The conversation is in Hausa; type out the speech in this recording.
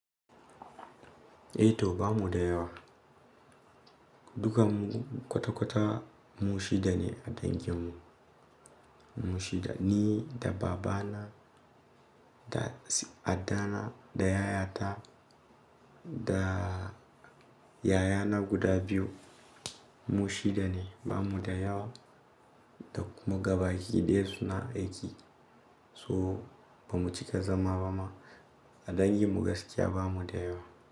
Eh to bamu da yawa. Dukan mu kwata-kwata mu shida ne a dangin mu. Mu shida ni da baba na da addana da yayata da yayana guda biyu mu shida ne. Ba mu da yawa da kuma gaba hiɗaya suna aiki. So ba mu cika zama ba ma a dangin mu gaskiya ba mu da yawa.